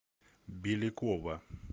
белякова